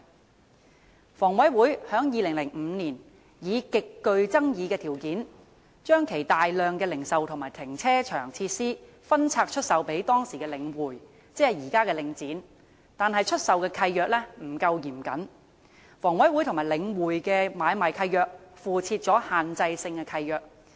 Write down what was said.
香港房屋委員會在2005年以極具爭議的條件將其大量零售和停車場設施分拆出售予當時的領匯房地產投資信託基金，即現在的領展，但出售契約不夠嚴謹，房委會和領匯的買賣契約附設限制性契諾。